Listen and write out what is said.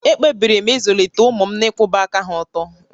Ekpebiri m izụlite ụmụ m n'ịkwụba aka há ọ̀tọ́